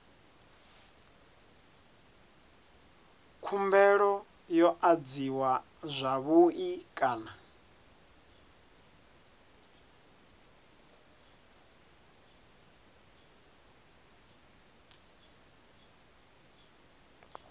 khumbelo yo adziwa zwavhui kana